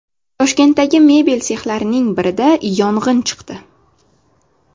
Toshkentdagi mebel sexlarining birida yong‘in chiqdi.